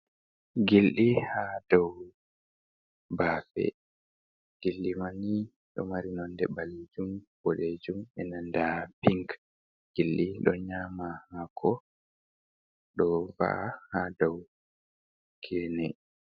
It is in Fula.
Gilɗi hadou baafe, gilliɗimanni ɗo mari nonde ɓalejum, boɗejum, be nanta pink. gildi ɗo nyama haako dova"a ha dou gene.